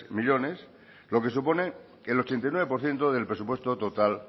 millónes lo que supone que el ochenta y nueve por ciento del presupuesto total